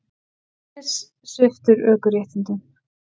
Dennis sviptur ökuréttindum